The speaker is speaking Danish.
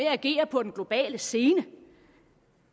agere på den globale scene